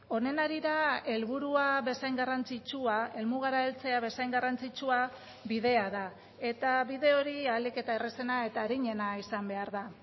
honen harira helburua bezain garrantzitsua helmugara heltzea bezain garrantzitsua bidea da eta bide hori ahalik eta errazena eta arinena izan behar da